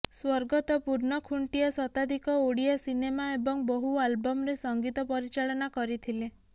ସ୍ବର୍ଗତ ପୂର୍ଣ୍ଣ ଖୁଣ୍ଟିଆ ଶତାଧିକ ଓଡ଼ିଆ ସିନେମା ଏବଂ ବହୁ ଆଲବମରେ ସଙ୍ଗୀତ ପରିଚାଳନା କରିଥିଲେ